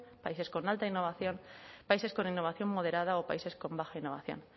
países con alta innovación países con innovación moderada o países con baja innovación